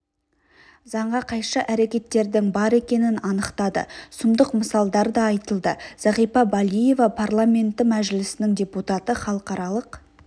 заңға қайшы әрекеттердің бар екенін анықтады сұмдық мысалдар да айтылды зағипа балиева парламенті мәжілісінің депутаты халықаралық